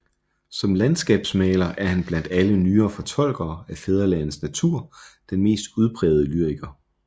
Som landskabsmaler er han blandt alle nyere fortolkere af fædrelandets natur den mest udprægede lyriker